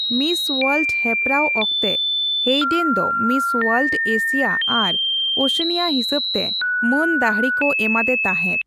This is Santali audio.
ᱢᱤᱥ ᱳᱣᱟᱨᱞᱰ ᱦᱮᱯᱮᱨᱟᱣ ᱚᱠᱛᱮ ᱦᱮᱭᱰᱮᱱ ᱫᱚ ᱢᱤᱥ ᱳᱣᱟᱨᱞᱰᱼᱮᱥᱤᱭᱟ ᱟᱨ ᱳᱥᱮᱱᱤᱭᱟ ᱦᱤᱥᱟᱹᱵᱛᱮ ᱢᱟᱹᱱ ᱫᱟᱹᱦᱲᱤ ᱠᱚ ᱮᱢᱟᱫᱮ ᱛᱟᱸᱦᱮᱫ ᱾